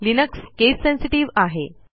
Linux case sensitive आहे